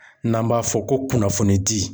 N'an b'a fɔ ko kunnafonidi.